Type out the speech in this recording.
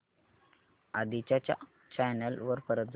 आधी च्या चॅनल वर परत जा